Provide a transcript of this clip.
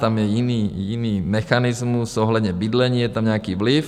Tam je jiný mechanismus ohledně bydlení, je tam nějaký vliv.